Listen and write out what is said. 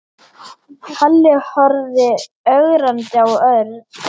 Halli horfði ögrandi á Örn.